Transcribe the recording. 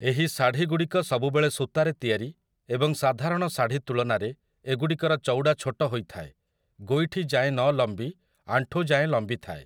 ଏହି ଶାଢ଼ୀଗୁଡ଼ିକ ସବୁବେଳେ ସୂତାରେ ତିଆରି ଏବଂ ସାଧାରଣ ଶାଢ଼ୀ ତୁଳନାରେ ଏଗୁଡ଼ିକର ଚଉଡ଼ା ଛୋଟ ହୋଇଥାଏ, ଗୋଇଠି ଯାଏଁ ନଲମ୍ବି ଆଣ୍ଠୁ ଯାଏଁ ଲମ୍ବିଥାଏ ।